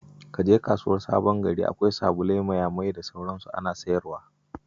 Ka je kasuwar Sabon Gari, akwai salulai, mayamayai, da sauran su ana sayarwa.